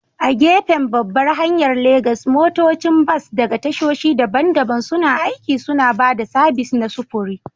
A gefen babbar hanyar Legas, motocin bas daga tashoshi daban-daban suna aiki, suna ba da sabis na sufuri.